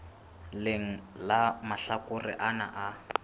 leng la mahlakore ana a